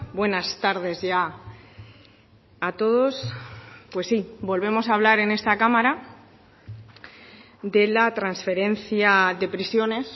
buenas tardes ya a todos pues sí volvemos a hablar en esta cámara de la transferencia de prisiones